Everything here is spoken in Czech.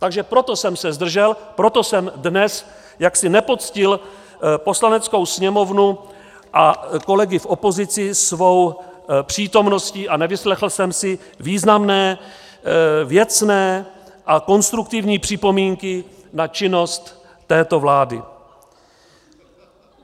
Takže proto jsem se zdržel, proto jsem dnes jaksi nepoctil Poslaneckou sněmovnu a kolegy v opozici svou přítomností a nevyslechl jsem si významné, věcné a konstruktivní připomínky na činnost této vlády.